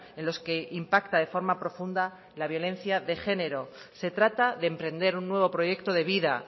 en los que impacta de forma profunda la violencia de género se trata de emprender un nuevo proyecto de vida